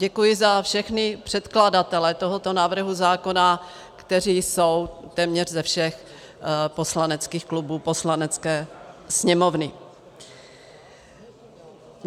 Děkuji za všechny předkladatele tohoto návrhu zákona, kteří jsou téměř ze všech poslaneckých klubů Poslanecké sněmovny.